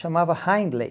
Chamava Hindley.